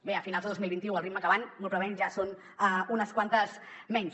bé a finals de dos mil vint u al ritme que van molt probablement ja són unes quantes menys